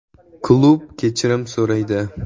“Klub kechirim so‘raydi.